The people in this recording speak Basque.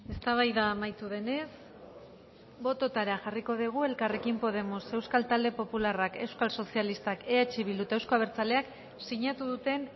eztabaida amaitu denez bototara jarriko dugu elkarrekin podemos euskal talde popularrak euskal sozialistak eh bildu eta eusko abertzaleak sinatu duten